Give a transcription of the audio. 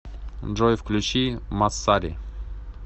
джой включи массари